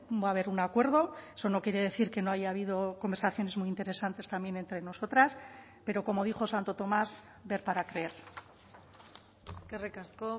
va a haber un acuerdo eso no quiere decir que no haya habido conversaciones muy interesantes también entre nosotras pero como dijo santo tomás ver para creer eskerrik asko